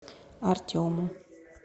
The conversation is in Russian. артему